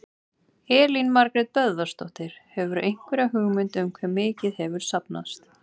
Elín Margrét Böðvarsdóttir: Hefurðu einhverja hugmynd um hve mikið hefur safnast?